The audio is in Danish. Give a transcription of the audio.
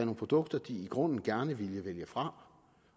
produkter de i grunden gerne ville vælge fra